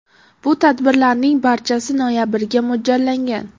Bu tadbirlarning barchasi noyabrga mo‘ljallangan.